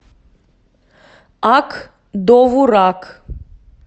ак довурак